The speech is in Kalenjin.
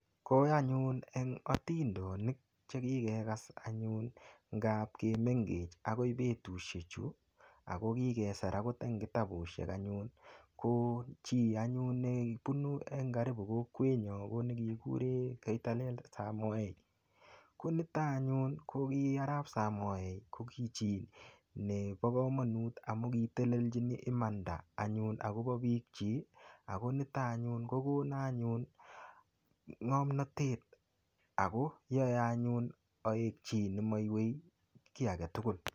Ko anyun en atindonik Che ki kegas anyun ngab ki mengech agoi betusiechu ago kikesir akot en kitabusiek anyun ko chi anyun nebunu en. Karibu kokwenyun ko nekikuren koitalel Arap samoei koniton anyun ko ki Arap samoei ko ki chi nebo kamanut amun kitelelchi imanda anyun akobo bikyik ako niton anyun ko konon anyun ngomnatet ago yoe anyun aek chi Nemo iywei ki age tugul